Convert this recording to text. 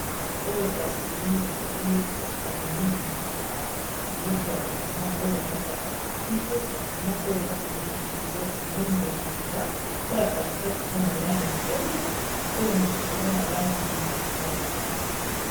Oyo kasi ezali batandi babiloko ya ba mama oyo alataka na kingo kasi moko eza na langi ezongelangela, oyo katikate eza na langi ya pembe oyo mosusu eza na langi ya lilala.